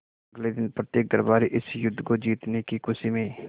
अगले दिन प्रत्येक दरबारी इस युद्ध को जीतने की खुशी में